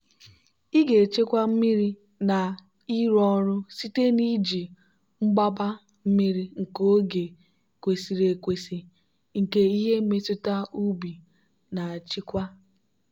ị ga-echekwa mmiri na ịrụ ọrụ site n'iji mgbaba mmiri nke oge kwesịrị ekwesị nke ihe mmetụta ubi na-achịkwa.